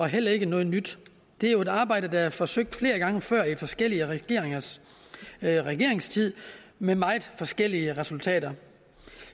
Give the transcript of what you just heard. heller ikke noget nyt det er jo et arbejde der er forsøgt flere gange før i forskellige regeringers regeringstid med meget forskellige resultater